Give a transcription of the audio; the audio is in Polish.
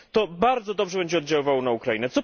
To bardzo dobrze będzie oddziaływało na Ukrainę.